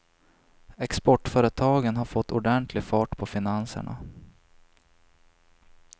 Exportföretagen har fått ordentlig fart på finanserna.